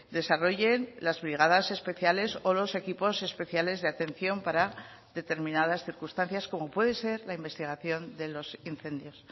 desarrollen las brigadas especiales o los equipos especiales de atención para determinadas circunstancias como puede ser la investigación de los incendios